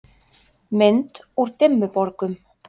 Mynd úr Dimmuborgum.